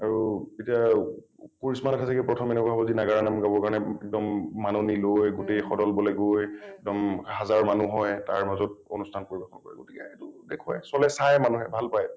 আৰু এতিয়া কৃষ্ণ nath এই চাগে প্ৰথম এনেকুৱা হব যি নাগৰা নাম গাব কাৰণে একদম মাননি লৈ গোটেই সদলবলে গৈ একদম হাজাৰ মানুহ হয় তাৰ মাজত অনুষ্ঠান পৰিবেশন কৰিব লগীয়া এইটো দেখুৱাই । চবেই চাই মানুহে ভাল পায়।